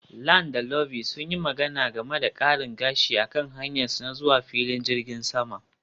Lan da Ivy sun yi magana game da karin gashi a kan hanyarsu ta zuwa filin jirgin sama